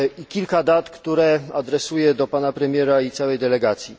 Kilka dat, które adresuję do Pana Premiera i całej delegacji.